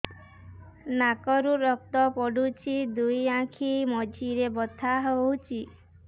ନାକରୁ ରକ୍ତ ପଡୁଛି ଦୁଇ ଆଖି ମଝିରେ ବଥା ହଉଚି